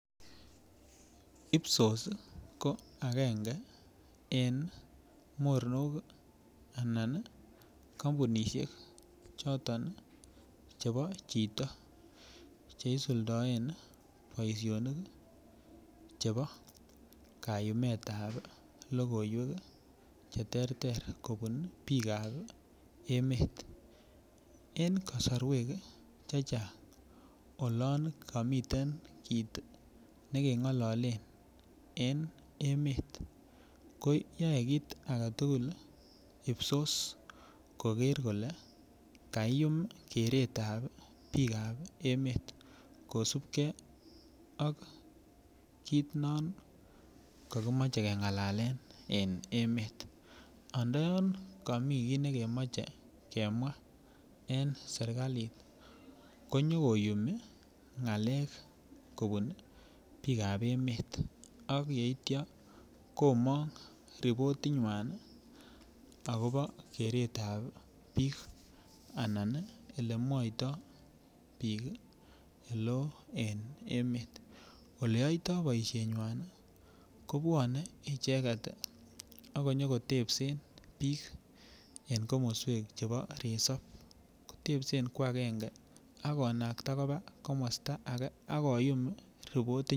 Ipsos ko agenge en mornok anan kampunisiek choton chebo chito che isuldaen boisionik chebo kayumetab logoywek cheterter kobun biikab emet. En kasorwek chechang olan kamiten kit nekengololen en emet, koyae kit age tugul Ipsos koger kole kaiyum keretab biikab emet kosupke ak kit non kakimoche kengalalen en emet. Andoyon kami kiy nekemoche kemwa en sergalit konyokoyumi ngalek kobun biikab emet ak yeitya, komong ripotinywan agobo keretab biik anan elemwoito biikoleo en emet. Oleyoito boisienywan kobwane icheget ak konyokotebsen biik en komoswek chebo resop. Kotepsen kwagenge ak konakta koba komosta age ak koyum ripotit.